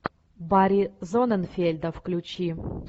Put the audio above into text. барри зонненфельда включи